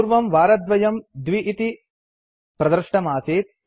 पूर्वं वारद्वयम् २ इति प्रदृष्टमासीत्